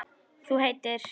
Þú heitir?